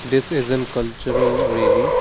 this is an cultural really.